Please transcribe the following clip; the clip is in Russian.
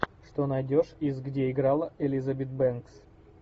что найдешь из где играла элизабет бэнкс